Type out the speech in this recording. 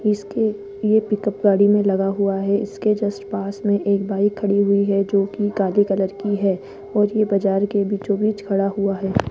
इसके लिए पिकअप गाड़ी में लगा हुआ है इसके जस्ट पास में एक बाइक खड़ी हुई है जो की काली कलर की है और ये बाजार के बीचों बीच खड़ा हुआ है।